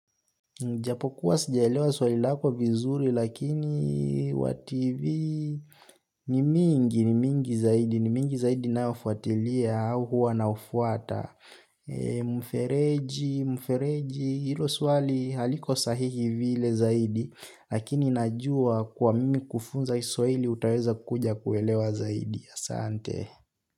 Japokuwa sijaelewa swali lako vizuri, lakini wativi ni mingi, ni mingi zaidi, ni mingi zaidi naofuatilia au huwa naofuata. Mfereji, mfereji, ilo swali haliko sahihi vile zaidi, lakini najua kwa mimi kufunza iswahili utaweza kuja kuelewa zaidi asante.